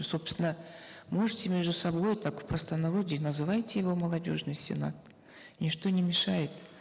собственно можете между собой так в простонародье называйте его молодежный сенат ничто не мешает